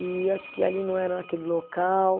E acho que ali não era naquele local.